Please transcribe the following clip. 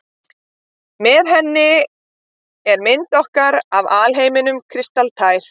Með henni er mynd okkar af alheiminum kristaltær.